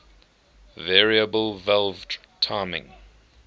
variable valve timing